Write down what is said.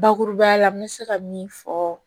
Bakuruba la n bɛ se ka min fɔ